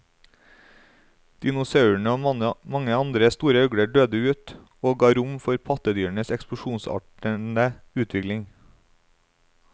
Dinosaurene og mange andre store øgler døde ut, og ga rom for pattedyrenes eksplosjonsartede utvikling.